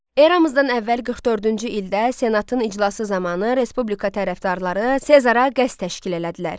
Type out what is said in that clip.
Eramızdan əvvəl 44-cü ildə senatın iclası zamanı respublika tərəfdarları Sezara qəsd təşkil elədilər.